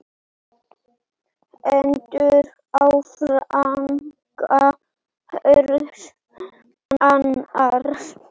Hendur á vanga hvors annars.